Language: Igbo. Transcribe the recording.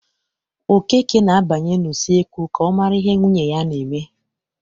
Okeke na-abanye n'usekwu ka ọ mara ihe nwunye na-eme.